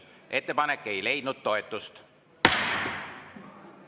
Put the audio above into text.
Ettepanek ei leidnud toetust.